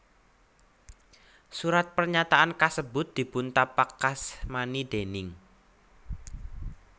Surat pernyataan kasebut dipuntapakasmani déning